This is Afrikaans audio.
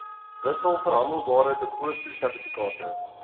wissels verhandelbare depositosertifikate